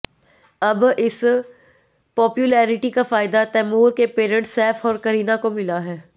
अब इस पॉपुलेरिटी का फायदा तैमूर के पेरेंट्स सैफ और करीना को मिला है